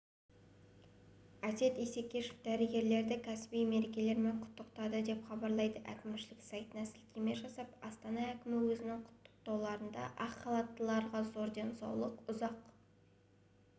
әсет исекешев дәрігерлерді кәсіби мерекелерімен құттықтады деп хабарлайды әкімшілік сайтына сілтеме жасап астана әкімі өзінің құттықтауында ақ халаттыларға зор денсаулық ұзақ